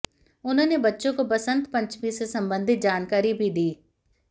उन्होंने बच्चों को बसंत पंचमी से संबंधित जानकारी भी दी